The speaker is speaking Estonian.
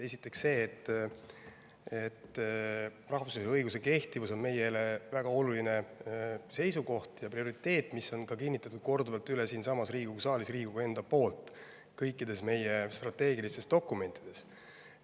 Esiteks see, et rahvusvahelise õiguse kehtivus on meile väga oluline seisukoht ja prioriteet, mida on Riigikogu ise korduvalt kinnitanud siinsamas Riigikogu saalis kõikides meie strateegilistes dokumentides.